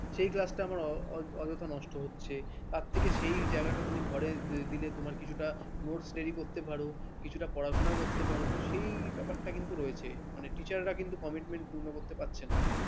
এই class আমার অযথা নষ্ট হচ্ছে তার থেকে সে জায়গাটা তুমি ঘরে দিলে তোমার কিছু কিছুটা notes ready করতে পারো কিছুটা পড়াশোনা করতে পারো তো সেই ব্যাপারটা কিন্তু রয়েছে মানে teacher কিন্তু commitment পূর্ণ করতে পারছেন না ।